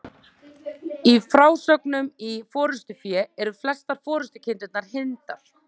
Í frásögnum í Forystufé eru flestar forystukindurnar hyrndar.